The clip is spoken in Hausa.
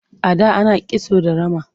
A da ana kisto da rama.